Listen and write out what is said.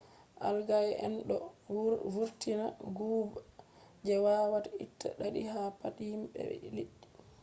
algae en ɗo vurtina guuɓa je wawata itta ɗaɗi ha pat himɓe be liɗɗi